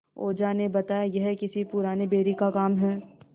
ओझा ने बताया यह किसी पुराने बैरी का काम है